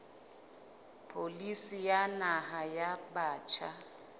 pholisi ya naha ya batjha